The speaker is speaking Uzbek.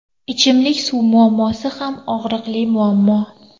Ichimlik suv muammosi ham og‘riqli muammo.